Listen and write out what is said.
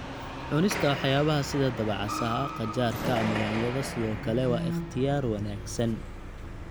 Cunista waxyaabaha sida dabacasaha, qajaarka ama yaanyada sidoo kale waa ikhtiyaar wanaagsan.